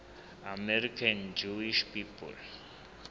american jewish people